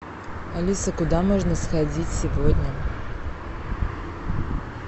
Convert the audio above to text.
алиса куда можно сходить сегодня